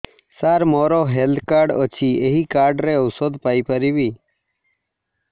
ସାର ମୋର health card ଅଛି ଏହି କାର୍ଡ ରେ ଔଷଧ ପାଇପାରିବି